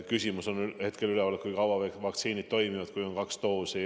Hetkel on üleval olnud küsimus, kui kaua vaktsiinid toimivad, kui on saadud kaks doosi.